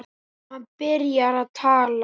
Hann byrjar að tala.